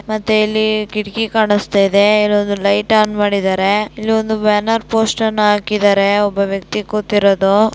ಮತ್ತು ಇಲ್ಲಿ ಕಿಟಕಿ ಕಾಣಸ್ತಾ ಇದೆ. ಲೈಟ್ ಆನ್ ಮಾಡಿದ್ದಾರೆ ಒಂದ್ ಬ್ಯಾನರ್ ಪೋಸ್ಟರ್ ಹಾಕಿದರೇ ಒಬ್ಬ ವ್ಯಕ್ತಿ ಕೂತಿರೋದು--